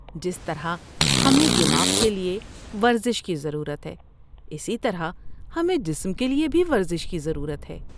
جس طرح ہمیں دماغ کے لیے ورزش کی ضرورت ہے، اسی طرح ہمیں جسم کے لیے بھی ورزش کی ضرورت ہے۔